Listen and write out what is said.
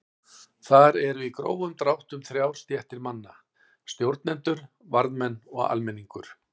Þar eru í grófum dráttum þrjár stéttir manna: Stjórnendur, varðmenn og almenningur.